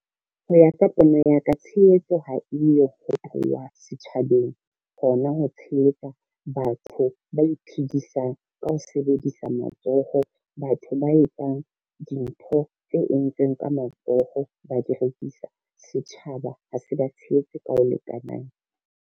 Ho ya ka pono ya ka tshehetso ha eyo ho tlowa setjhabeng, hona ho tshehetsa batho ba iphedisang ka ho sebedisa matsoho. Batho ba etsang dintho tse entsweng ka matsoho ba di rekisa, setjhaba ha se ba tshehetse ka ho lekanang.